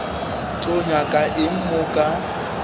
tlo nyaka eng mo ka